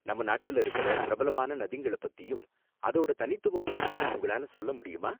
நம்ம நாட்டுல இருக்குற பிரபலமான நதிங்கள பத்தியும் அதோட தனித்துவம் பத்தியும் உங்களால சொல்ல முடியுமா?